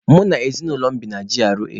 Mụ na ezinaụlọ m bi na G.R.A